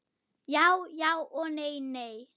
Já já og nei nei.